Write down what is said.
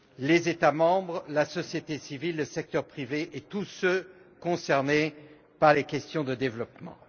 les États membres, la société civile, le secteur privé et tous les acteurs concernés par les questions de développement.